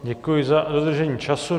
Děkuji za dodržení času.